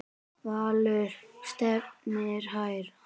Valur stefnir hærra.